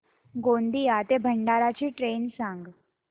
गोंदिया ते भंडारा ची ट्रेन सांग